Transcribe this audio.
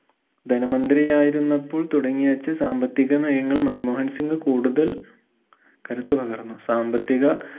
ധന മന്ത്രിയായിരുന്നപ്പോൾ തുടങ്ങിവെച്ച സാമ്പത്തികമയങ്ങൾ മൻമോഹൻ സിംഗ് കൂടുതൽ കരുത്തു പകർന്നു സാമ്പത്തിക